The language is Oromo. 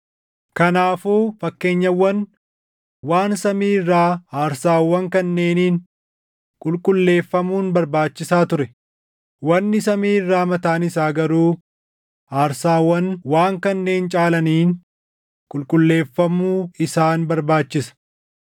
Kanaafuu fakkeenyawwan waan samii irraa aarsaawwan kanneeniin qulqulleeffamuun barbaachisaa ture; wanni samii irraa mataan isaa garuu aarsaawwan waan kanneen caalaniin qulqulleeffamuu isaan barbaachisa.